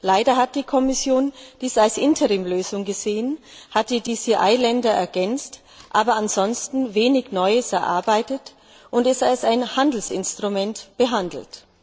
Leider hat die Kommission dies als Interimslösung gesehen, hat die DCI Länder ergänzt, aber ansonsten wenig Neues erarbeitet und es als ein Handelsinstrument behandelt.